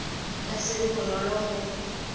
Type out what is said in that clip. ka se be bonolo go